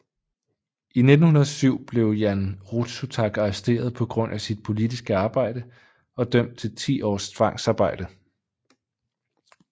I 1907 blev Jan Rudsutak arresteret på grund af sit politiske arbejde og dømt til ti års tvangsarbejde